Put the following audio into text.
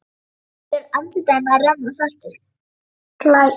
Niður andlit hennar renna saltir lækir.